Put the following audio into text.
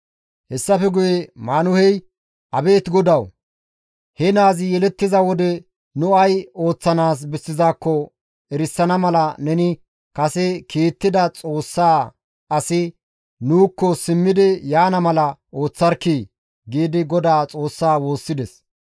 Hessafe guye Maanuhey, «Abeet GODAWU! He naazi yelettiza wode nu ay ooththanaas bessizaakko erisana mala neni kase kiittida Xoossa asi nuukko simmidi yaana mala ooththarkkii!» giidi Godaa Xoossaa woossides.